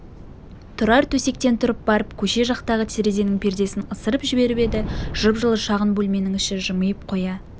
тұрар төсектен тұрып барып көше жақтағы терезенің пердесін ысырып жіберіп еді жып-жылы шағын бөлменің іші жымиып қоя